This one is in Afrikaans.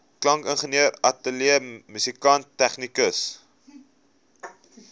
klankingenieur ateljeemusikant tegnikus